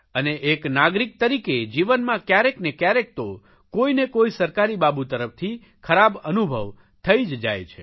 અને એક નાગરિક તરીકે જીવનમાં કયારેક ને કયારેક તો કોઇને કોઇ સરકારી બાબુ તરફથી ખરાબ અનુભવ થઇ જ જાય છે